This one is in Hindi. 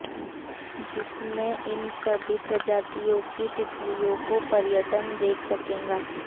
जिसमें इन सभी प्रजातियों की तितलियों को पर्यटन देख सकेगा